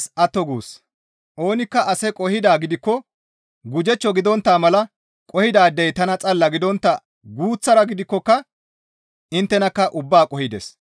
Oonikka ase qohidaa gidikko gujechcho gidontta mala qohidaadey tana xalla gidontta guuththara gidikkoka inttenakka ubbaa qohides.